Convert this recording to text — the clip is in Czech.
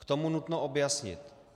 K tomu nutno objasnit: